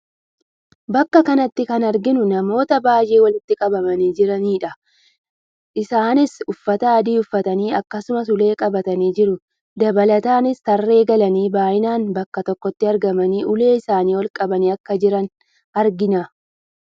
Bakka kanatti kan arginu namoota baayyee walitti qabamanii jirani dha. Isaanis uffata adii uffatanii akkasumas ulee qabatanii jiru . Dabalataanis tarree galanii baayinaan bakka tokkotti argamanii ulee isaanii ol qabanii akka jiran argina.